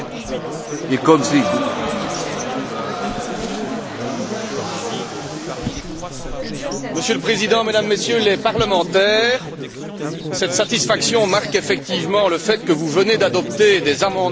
Monsieur le Président, Mesdames et Messieurs les parlementaires, cette satisfaction marque effectivement le fait que vous venez d'adopter des amendements à la position du Conseil concernant le projet de budget rectificatif n° 3 pour 2010